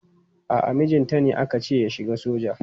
A'a mijinta ne aka ce ya shiga soja.